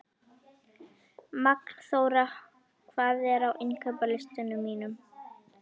Magnþóra, hvað er á innkaupalistanum mínum?